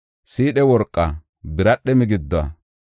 siidhe worqa, biradhe migiduwa,